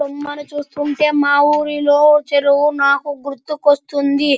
బొమ్మను చూస్తుంటే మా ఊరిలో చెరువు నాకు గుర్తుకొస్తుంది.